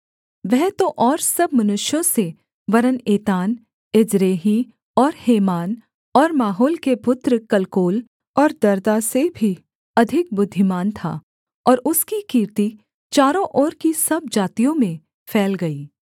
वह तो और सब मनुष्यों से वरन् एतान एज्रेही और हेमान और माहोल के पुत्र कलकोल और दर्दा से भी अधिक बुद्धिमान था और उसकी कीर्ति चारों ओर की सब जातियों में फैल गई